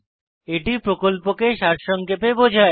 এটি প্রকল্পকে সারসংক্ষেপে বোঝায়